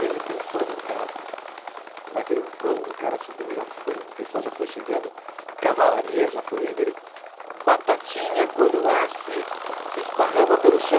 De repente, sobe um cara naquilo, quando o cara subiu já foi um, o pessoal já foi chegando, a cavalaria já foi indo, ele batatinha quando nasce, se esparrama pelo chão.